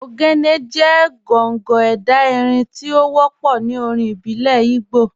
Ogene jẹ̀ gọ̀ngọ̀ ẹdá irin tí o wọpọ̀ ní orin ìbílẹ̀ Ìgbò.